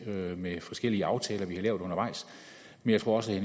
til med forskellige aftaler vi har lavet undervejs men jeg tror også at